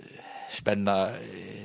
spenna